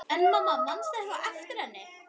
En mamma, manstu eitthvað eftir henni?